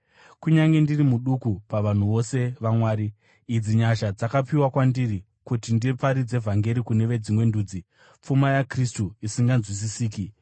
Kunyange ndiri muduku pavanhu vose vaMwari, idzi nyasha dzakapiwa kwandiri: kuti ndiparidze vhangeri kune veDzimwe Ndudzi pfuma yaKristu isinganzwisisiki;